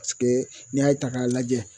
paseke n'i y'a ta k'a lajɛ